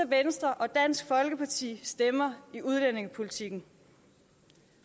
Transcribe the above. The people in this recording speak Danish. venstre og dansk folkeparti stemmer i udlændingepolitikken